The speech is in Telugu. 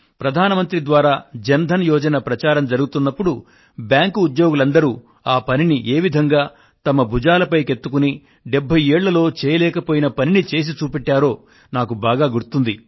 ప్రధాన మంత్రి ద్వారా జన్ ధన్ యోజన ప్రచారం జరుగుతున్నపుడు బ్యాంకు ఉద్యోగులందరూ ఆ పనిని ఏ విధంగా తమ భుజాలపైకెత్తుకుని 70 ఏళ్ళలో చేయలేకపోయిన పనిని చేసి చూపెట్టారో నాకు బాగా గుర్తుంది